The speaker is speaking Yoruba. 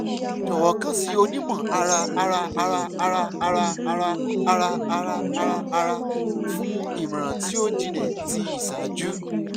jọwọ kan si onimọ-ara-ara-ara-ara-ara-ara-ara-ara-ara fun imọran ti o jinlẹ ti iṣaaju